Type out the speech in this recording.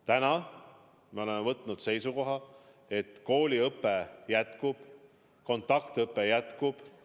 Täna me oleme võtnud seisukoha, et kooliõpe jätkub, kontaktõpe jätkub.